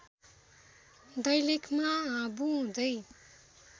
दैलेखमा हाबु हुँदै